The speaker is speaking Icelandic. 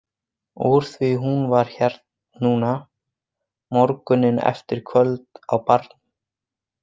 Úr því hún var hér núna, morguninn eftir kvöld á barnum.